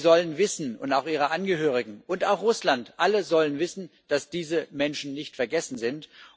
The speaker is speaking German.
Sie und auch ihre Angehörigen und auch Russland, alle sollen wissen, dass diese Menschen nicht vergessen sind.